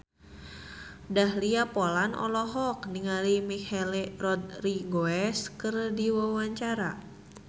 Dahlia Poland olohok ningali Michelle Rodriguez keur diwawancara